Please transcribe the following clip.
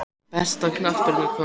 Besta knattspyrnukonan?